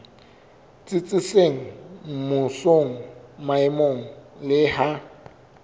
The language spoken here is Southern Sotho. tsitsitseng mmusong maemong le ha